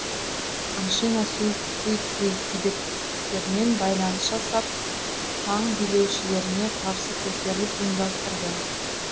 ашина суйцзы тибеттіктермен байланыс жасап таң билеушілеріне қарсы көтеріліс ұйымдастырды